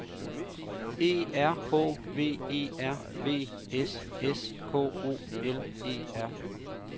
E R H V E R V S S K O L E R